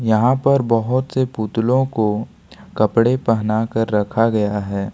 यहां पर बहुत से पुतलों को कपड़े पहना कर रखा गया है।